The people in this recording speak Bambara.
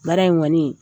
Baara in kɔni